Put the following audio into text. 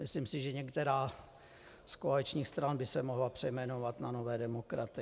Myslím si, že některá z koaličních stran by se mohla přejmenovat na Nové demokraty.